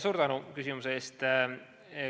Suur tänu küsimuse eest!